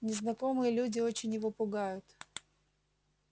незнакомые люди очень его пугают